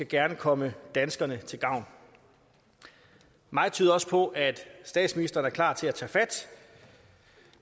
gerne komme danskerne til gavn meget tyder også på at statsministeren er klar til at tage fat